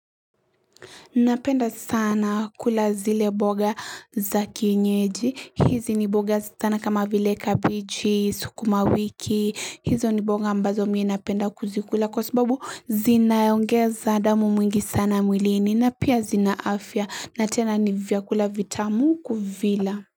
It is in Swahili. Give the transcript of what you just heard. Napenda sana kula zile boga za kienyeji. Hizi ni boga sana kama vile kabichi, sukuma wiki. Hizo ni boga ambazo mie napenda kuzikula kwa sababu zinaongeza damu mwingi sana mwilini na pia zina afya na tena ni vyakula vitamu kuvila.